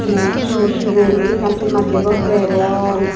noi siot siot sigon guri ekkan ton macche gor degong.